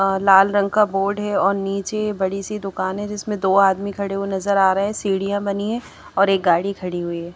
अ लाल रंग का बोर्ड है और नीचे बड़ी सी दुकान है जिसमें दो आदमी खड़े हुए नजर आ रहे हैं सीढ़ियां बनी है और एक गाड़ी खड़ी हुई है।